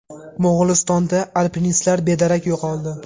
Mo‘g‘ulistonda alpinistlar bedarak yo‘qoldi.